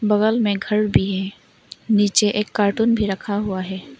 बगल में घर भी है नीचे एक कार्टून भी रखा हुआ है।